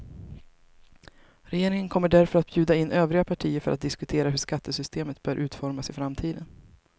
Regeringen kommer därför att bjuda in övriga partier för att diskutera hur skattesystemet bör utformas i framtiden.